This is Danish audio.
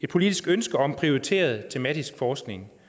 politisk ønske om prioriteret tematisk forskning